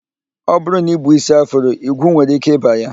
Ọ bụrụ na I bu ísí afro, igwu nwere ike ịba ya